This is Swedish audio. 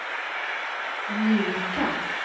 mjuka